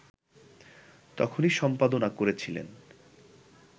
তখনি সম্পাদনা করেছিলেন